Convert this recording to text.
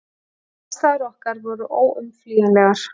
Og aðstæður okkar voru óumflýjanlegar.